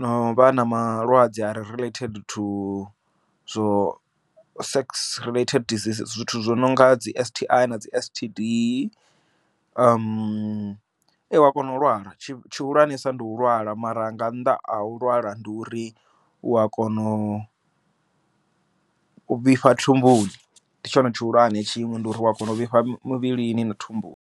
no vha na malwadze a relate thu zwo sex relate disease zwithu zwo no nga dzi S_T_I na dzi S_T_D wa kona u lwala tshi tshihulwane sa ndi u lwala mara nga nḓa ha a u lwala ndi uri u a kona u vhifha thumbuni ndi tshone tshihulwane tshiṅwe ndi uri u a kona u vhifha muvhilini na thumbuni.